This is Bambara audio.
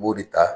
U b'o de ta